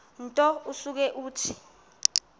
nto usuke uthi